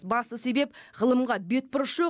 басты себеп ғылымға бетбұрыс жоқ